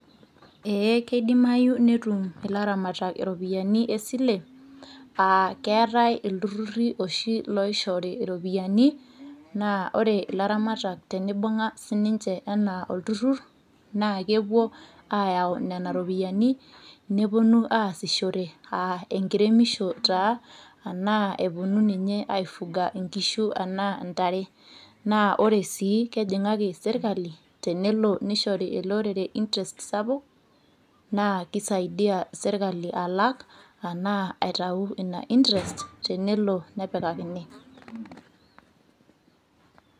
ee keidimayu netum ilaramatak iropiyiani esili, keetae iltururi oshi oishooyo iropiyiani. naa ore ilaramatak teneibung'a sii ninche anaa olturur naa kepuo aayau nena ropiyiani nepuonu aasishore, enkiremisho taa anaa epuonu aifyga nkishu anaa ntare. naa ore sii kejing'aki sirkali tenelo nishori ele orere interest sapuk, naa kisaidia sirkali alak ashu itau ina interest tenelo nepikakini.